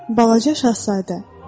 Balaca Şahzadə.